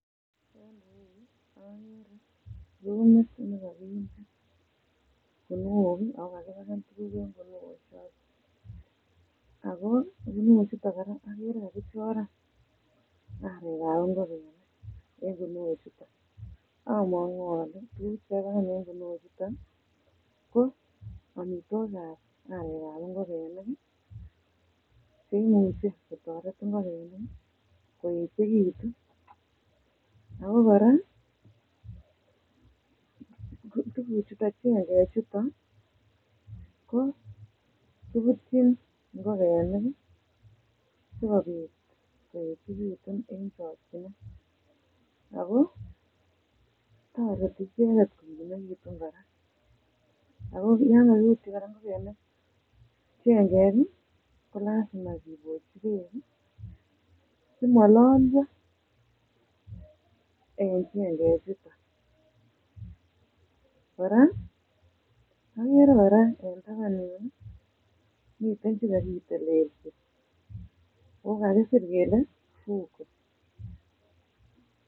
En irou agere rumit ne kakinde kunuok ago akipaken tuguk en kunuok choton ago kunuok chuton koraa agere kakichoran arekab ngokenik en kunuok chuton amakuu ale um ko amitwogikab arekab ngokenik che imuche kotoret ngokenik koechegitun ago koraa tuguk chuton um chengeng chuton ko kibutyin ngokenik sikobit koechegitun en chokchinet ago toreti icheket kokimekitun koraa ago yekariibchi ngokenik chengeng komoche kibochii beek si mololyo en chengeng chuton koraa agere koraa en taban yu miten chekakitelesi ago kakisir kele fugo.